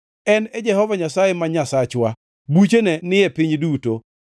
En e Jehova Nyasaye ma Nyasachwa; buchene ni e piny duto.